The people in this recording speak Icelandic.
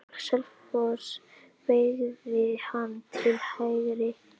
Selfoss beygði hann til hægri.